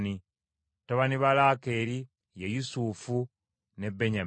Batabani ba Laakeeri ye: Yusufu ne Benyamini.